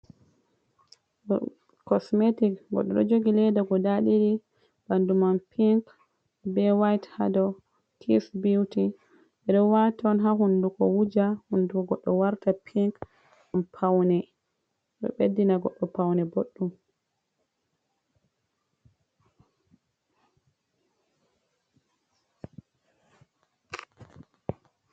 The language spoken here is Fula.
Kosmetik goɗɗo ɗo jogi leda guda ɗiɗi, ɓadumam pink be wayt hado kis biwti ɓeɗo wata on ha hunduko goɗɗo wuja hunduko goɗɗo warta pink ɗum paune ɗo ɓeddina goɗɗo paune boɗɗum.